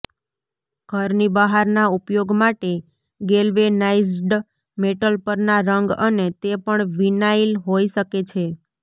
ઘરની બહારના ઉપયોગ માટે ગેલ્વેનાઈઝ્ડ મેટલ પરના રંગ અને તે પણ વિનાઇલ હોઈ શકે છે